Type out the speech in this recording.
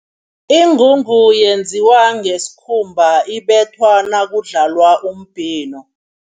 Ingungu yenziwa ngesikhumba, ibethwa nakudlalwa umbhino.